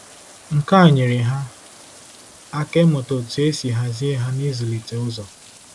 Nke a nyeere ha aka ịmụta otú e si hazie ha na ịzụlite ụzọ.